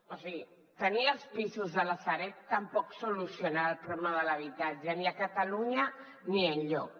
o sigui tenir els pisos de la sareb tampoc soluciona el problema de l’habitatge ni a catalunya ni enlloc